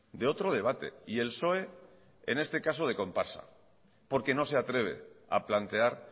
de otro debate y el psoe en este caso de comparsa porque no se atreve a plantear